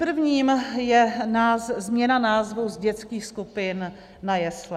Prvním je změna názvu z dětských skupin na jesle.